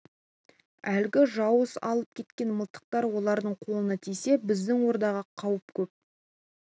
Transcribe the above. әлгі жауыз алып кеткен мылтықтар олардың қолына тисе біздің ордаға қауіп көп